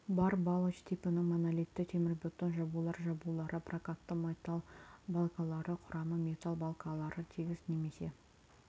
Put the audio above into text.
бар балоч типінің монолитті темірбетон жабулар жабулары прокатты металл балкалары құрамы металл балкалары тегіс немесе